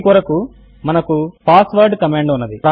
దీని కొరకు మనకు పాస్వుడ్ కమాండ్ ఉన్నది